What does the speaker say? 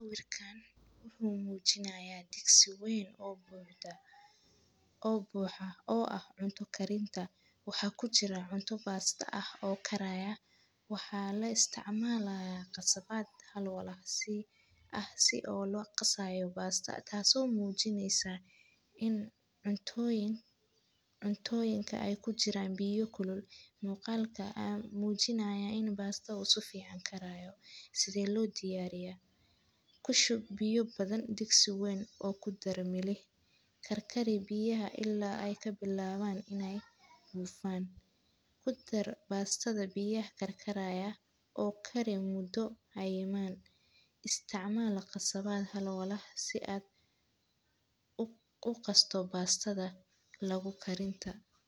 Sawirkan Wuxuu muujinaya dhiigsi wayn oo buuxda oo buuxa oo ah cunto karinta. Waxaa ku jira cunto baasta ah oo karaya. Waxaa la isticmaalaya qasabaad hal walaaqsi ah si oo loo qasayo baasta, taaso muujinaysa in cuntooyinka cuntooyinka ay ku jiraan biyo kulul. Muuqaalka ama muujinaya in baasta u sufi can karayo. side loo diyaariyaa. Ku shub biyo badan dhiigsi wayn oo ku darro melih. Karkarib biyaha ilaa ay ka bilaabaan in ay buufaan. Ku dar baastada biyaha karkaraya oo kari muddo ayimaan. Iisticmaal qasabaad hal walaah si aad u u kasto baastada lagu karinta.